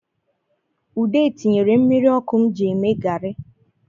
Ude tinyere mmiri ọkụ m ji eme gari